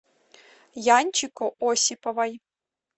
янчику осиповой